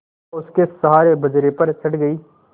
चंपा उसके सहारे बजरे पर चढ़ गई